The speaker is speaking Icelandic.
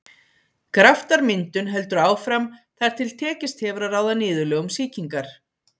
Graftarmyndun heldur áfram þar til tekist hefur að ráða niðurlögum sýkingar.